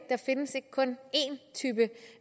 kun én type